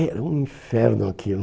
Era um inferno aquilo.